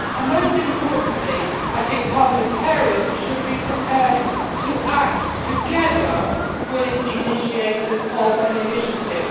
Most importantly, parliamentarians should be prepared to act together with initiators of an initiative.